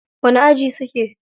Wani aji suke.